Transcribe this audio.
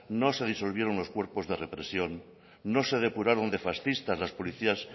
no se disolvieron unos cuerpos de represión no se depuraron de fascistas los policías